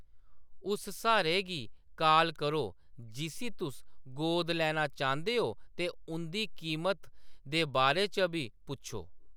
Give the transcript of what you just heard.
उस स्हारे गी कॉल करो जिस्सी तुस गोद लैना चांह्‌‌‌दे हो ते उंʼदी कीमत दे बारे च बी पुच्छो।